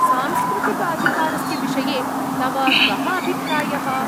सांस्कृतिकाधिकारस्य विषये तव कः अभिप्रायः?